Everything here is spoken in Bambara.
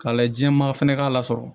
K'a lajɛ jɛman fɛnɛ k'a la sɔrɔ